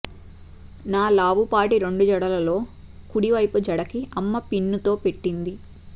నా లావుపాటి రెండు జడలలో కుడివైపు జడకి అమ్మ పిన్నుతో పెట్టింది